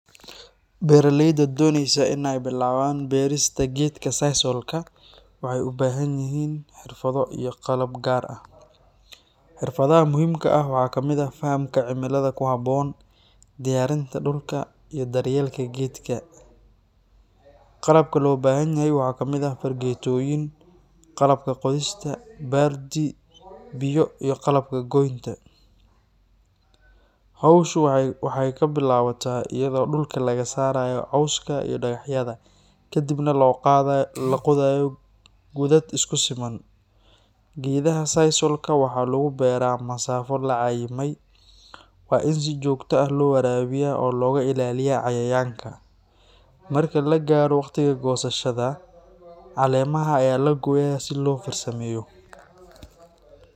Beeraleyda doonaysa in ay bilaabaan beerista gedka sisalka waxay u baahan yihiin xirfado iyo qalab gaar ah. Xirfadaha muhiimka ah waxaa ka mid ah fahamka cimilada ku habboon, diyaarinta dhulka, iyo daryeelka geedka. Qalabka loo baahan yahay waxaa ka mid ah fargeetooyin, qalabka qodista, baaldi, biyo iyo qalabka goynta. Hawshu waxay bilaabataa iyadoo dhulka laga saaro cawska iyo dhagaxyada, kadibna la qodayo godad isku siman. Geedaha sisalka waxaa lagu beeraa masaafo la cayimay. Waa in si joogto ah loo waraabiyaa oo looga ilaaliyaa cayayaanka. Marka la gaaro waqtiga goosashada, caleemaha ayaa la gooyaa si loo farsameeyo.